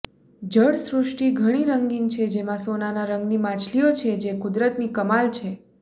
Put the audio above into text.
જળસૃષ્ટિ ઘણી રંગીન છે જેમાં સોનાના રંગની માછલીઓ છે જે કુદરતની કમાલ છે